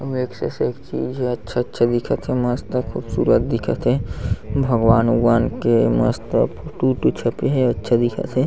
एक से एक चीज हे अच्छा- अच्छा दिखत हे मस्त खूबसूरत दिखत हे भगवान- उगवान के मस्त फोटो -वोटो छपे हे अच्छा दिखत हे।